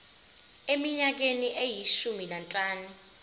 eminyakeni eyishumi nanhlanu